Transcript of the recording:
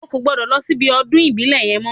Ó ò gbọ́dọ̀ lọ síbi ọdún ìbílẹ̀ yẹn mọ́